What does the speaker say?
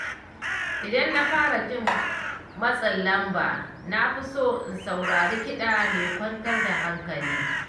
Idan na fara jin matsin lamba, na fi so in saurari kiɗa mai kwantar da hankali.